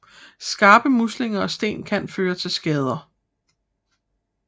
Skarpe muslinger og sten kan føre til skader